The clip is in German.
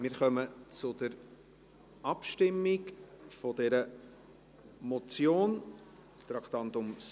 Wir kommen zur Abstimmung zu dieser Motion, Traktandum 67.